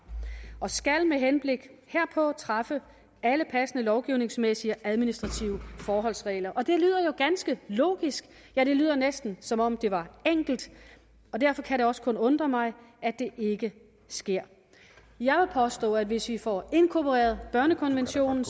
og skal med henblik herpå træffe alle passende lovgivningsmæssige og administrative forholdsregler det lyder jo ganske logisk ja det lyder næsten som om det var enkelt og derfor kan det også kun undre mig at det ikke sker jeg vil påstå at hvis vi får inkorporeret børnekonventionen